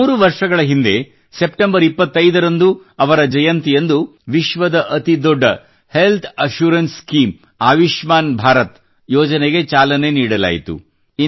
ಮೂರು ವರ್ಷಗಳ ಹಿಂದೆ ಸೆಪ್ಟೆಂಬರ್ 25 ರಂದು ಅವರ ಜನ್ಮ ಜಯಂತಿಯಂದು ವಿಶ್ವದ ಅತಿ ದೊಡ್ಡ health assurance scheme Ayushman Bharat ಯೋಜನೆಗೆ ಚಾಲನೆ ನೀಡಲಾಯಿತು